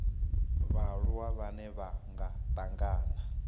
vhaaluwa vhane vha nga tangana